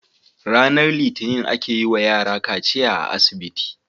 RAnar litinin ake yi wa yara kaciya a asibiti